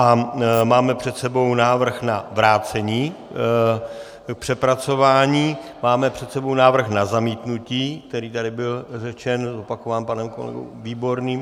A máme před sebou návrh na vrácení k přepracování, máme před sebou návrh na zamítnutí, který tady byl řečen, zopakován panem kolegou Výborným.